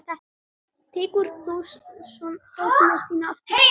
Tekur þú svo dósina aftur?